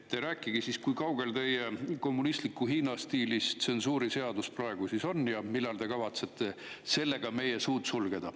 Rääkige, kui kaugel teie kommunistliku Hiina stiilis tsensuuriseadus praegu on ja millal te kavatsete sellega meie suud sulgeda.